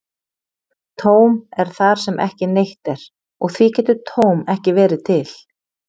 Tóm er þar sem ekki neitt er, og því getur tóm ekki verið til.